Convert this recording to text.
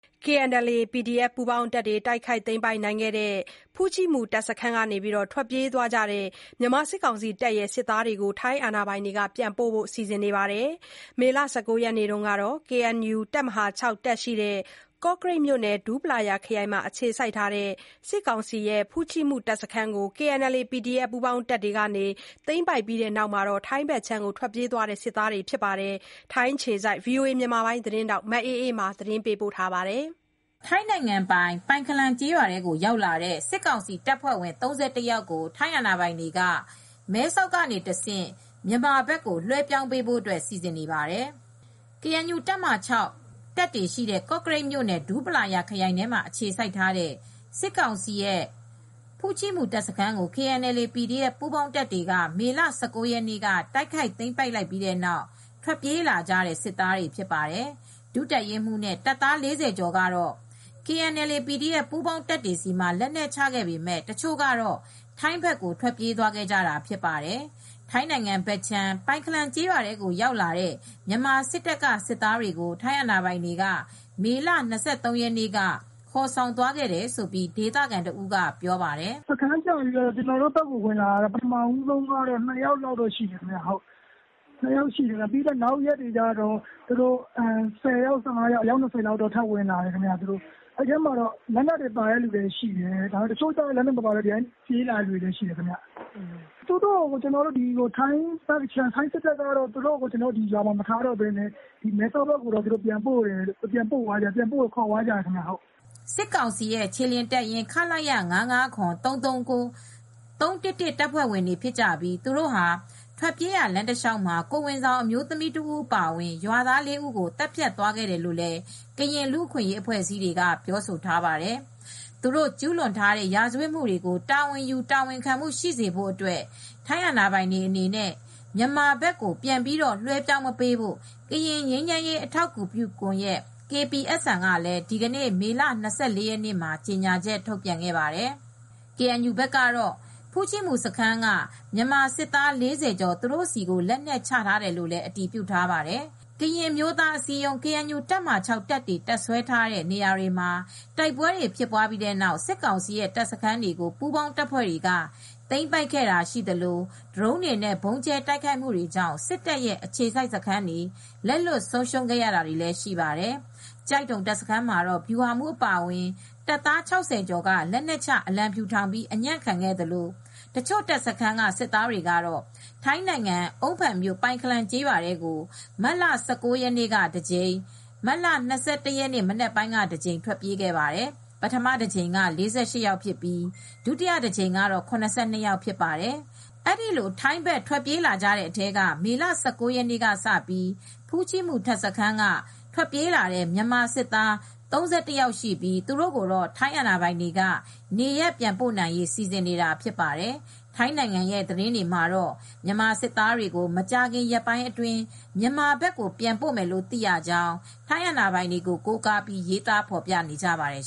KNLA/ PDF ပူးပေါင်းတပ်တွေ တိုက်ခိုက် သိမ်းပိုက်နိုင်ခဲ့တဲ့ ဖူ့ချိမူ တပ်စခန်းကနေ ထွက်ပြေးတဲ့ မြန်မာစစ်တပ်က စစ်သားတွေကို ထိုင်းအာဏာပိုင်တွေက ပြန်ပို့ဖို့ စီစဉ်နေပါတယ်။ မေလ ၁၉ ရက်က KNU တပ်မဟာ ၆ တပ်တွေရှိတဲ့ ကော့ကရိတ်မြို့နယ် ဒူးပလာယာခရိုင်မှာ အခြေစိုက်ထားတဲ့ စစ်ကောင်စီရဲ့ ဖူ့ချိမူ တပ်စခန်းကို KNLA/ PDF ပူးပေါင်းတပ်တွေ သိမ်းပိုက်ပြီးနောက် ထွက်ပြေးတဲ့ စစ်သားတွေဖြစ်ပါတယ်။ ဗွီအိုအေသတင်းထောက် မအေးအေးမာက သတင်းပေးပို့ထားပါတယ်။ ထိုင်းနိုင်ငံပိုင် ပိုင်ခလန်ကျေးရွာထဲကို ရောက်လာတဲ့ စစ်ကောင်စီတပ်ဖွဲ့ဝင် ၃၁ ယောက်ကို ထိုင်းအဏာပိုင်က မဲဆောက်ကနေတဆင့် မြန်မာဘက်ကို လွှဲပြောင်းပေးဖို့အတွက် စီစဉ်နေပါတယ်။ KNU တပ်မဟာ ၆ တပ်တွေရှိတဲ့ ကော့ကရိတ်မြို့နယ် ဒူးပလာယာခရိုင်ထဲမှာ အခြေစိုက်ထားတဲ့ စစ်ကောင်စီရဲ့ ဖူ့ချိမူ တပ်စခန်းကို KNLA/ PDF ပူးပေါင်းတပ်တွေ မေလ ၁၉ ရက်နေ့က တိုက်ခိုက်သိမ်းပိုက်လိုက်ပြီးနောက် ထွက်ပြေးလာကြတဲ့ စစ်သားတွေဖြစ်ပါတယ်။ ဒုတပ်ရင်းမှူးနဲ့ တပ်သား ၄၀ ကျော်ကတော့ KNLA/PDF ပူးပေါင်းတပ်တွေဆီမှာ လက်နက်ချခဲ့ပေမယ့် တချို့ကတော့ ထိုင်းဘက်ထဲကို ထွက်ပြေးသွားခဲ့ကြတာဖြစ်ပါတယ်။ ထိုင်းနိုင်ငံဘက်ခြမ်း ပိုင်ခလန်ကျေးရွာထဲရောက်လာတဲ့ မြန်မာစစ်တပ်က စစ်သားတွေကို ထိုင်းအာဏာပိုင်တွေက မေလ ၂၃ ရက်နေ့က ခေါ်သွားတယ်လို့ ဒေသခံတဦးက ပြောပြပါတယ်။ "သူတို့စခန်းကျပြီးတဲ့အချိန်ပထမဦးဆုံးကတော့ နှစ်ယောက် လောက်ဝင်လာတယ်။ နောက်ရက်တွေကျတော့ ၁၀ ယောက် ၁၅ယောက် အယောက်နဲ့ လူ၂၀ကျော်လောက်ဝင်လာတယ် သူတို့မှာကတော့ လက်နက်ပါတဲ့လူရှိတယ်။ လက်နက် မပါတဲ့လူရှိတယ်။ အဲဒီလူအားလုံးကိုတော့ကျနော်တို့ရွာဘက်မှ မထားတော့ပဲ မဲဆောက်ဘက်ခြမ်း ထိုင်းစစ်တပ်က ခေါ်သွားတယ် မဲဆောက်ဘက်ကို ပို့လိုက်တယ်" စစ်ကောင်စီရဲ့ခြေလျင်တပ်ရင်း ၅၅၇၊ ၃၃၉၊ ၃၁၁ တပ်ဖွဲ့ဝင်များဖြစ်ပြီး သူတို့ဟာ ထွက်ပြေးရာ လမ်းတလျောက်မှာ ကိုယ်ဝန်ဆောင် အမျိုးသမီးတဦးအပါအဝင် ရွာသား ၄ ဦးကိုလည်းသတ်ဖြတ်သွားခဲ့တယ်လို့ ကရင်လူ့အခွင့်ရေးအဖွဲ့အစည်းဘက်က ပြောဆိုထားပါတယ်။ သူတို့ကျူးလွန်ထားတဲ့ ရာဇဝတ်မှုတွေကို တာဝန်ယူ တာဝန်ခံမှုရှိစေဖို့အတွက် ထိုင်းအာဏာပိုင်တွေအနေနဲ့ မြန်မာလက်ကို ပြန်လွှဲမပေးဖို့ ကရင်ငြိမ်းချမ်းရေး အထောက်အကူပြုကွန်ရက် က ဒီနေ့မေလ ၂၄ ရက်နေ့မှာပဲ ကြေငြာချက်ထုတ်ပြန်ခဲ့ပါတယ်။ KNU ဘက်ကတော့ ဖူ့ချီမူစခန်းက မြန်မာစစ်သား ၄၀ ကျော် သူတို့ဆီကို လက်နက်ချထားတယ်လို့ အတည်ပြုထားပါတယ်။ ကရင်အမျိုးသားအစည်းအရုံး တပ်မဟာ တပ်တွေတပ်စွဲထားတဲ့ နေရာတွေမှာ တိုက်ပွဲတွေ ဖြစ်ပွားပြီးနောက် စစ်ကောင်စီရဲ့တပ်စခန်းတွေကို ပူးပေါင်း တပ်ဖွဲ့တွေက သိမ်းပိုက်ခဲ့တာရှိသလို၊ ဒရုန်းတွေနဲ့ ဗုံးကြဲ တိုက်ခိုက်မှုတာကြောင့် စစ်တပ်ရဲ့ အခြေစိုက်စခန်းတွေ လက်လွှတ်ဆုံးရှုံးခဲ့ရတာတွေလည်း ရှိပါတယ်။ ကျိုက်ဒုံ တပ်စခန်းမှာတော့ ဗျုဟာမူး အပါအဝင် တပ်သား ၆၀ ကျော်က လက်နက်ချ အလံဖြူထောင်ပြီး အညံ့ခဲ့သလို တချို့ တပ်စခန်းက စစ်သားတွေကတော့ ထိုင်းနိုင်ငံ၊ အုန်းဖန်မြို့၊ ပိုင်ခလန်ကျေးရွာထဲကို မတ်လ ၁၉ရက်နေ့ကတကြိမ်၊ မတ်လ ၂၁ ရက် မနက်ပိုင်းက တကြိမ် ထွက်ပြေးခဲ့ပါတယ်။ ပထမတကြိမ်က ၄၈ ယောက်ဖြစ်ပြီး ဒုတိယတကြိမ်က ၇၂ ယောက်ဖြစ်ပါတယ်။ အဲဒီလိုထိုင်းဘက် ထွက်ပြေးကြတဲ့အထဲက မေလ ၁၉ ရက်နေ့ ကနေစပြီး ဖူ့ချီမူတပ်စခန်းက ထွက်ပြေးလာတဲ့ မြန်မာစစ်သား ၃၁ ယောက်ရှိပြီး သူတို့ကိုတော့ထိုင်းအာဏာပိုင်တွေကနေရပ်ပြန်ပို့နိုင်ရေး စီစဉ်နေတာဖြစ်ပါတယ်။ ထိုင်းနိုင်ငံထဲကသတင်းတွေမှာတော့ မြန်မာစစ်သားတွေကို မကြာခင်ရက်ပိုင်းအတွင်း မြန်မာဘက်ကို ပြန်ပို့မယ်လို့ သိရကြောင်း ထိုင်းအာဏာပိုင်တွေကို ကိုးကားပြီး ရေးသားဖော်ပြနေကြပါတယ်